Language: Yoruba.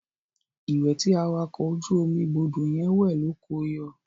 Ìwẹ̀ tí awakọ̀ ojú omi gbọdọ̀ yẹn wẹ̀ ló ko yọ.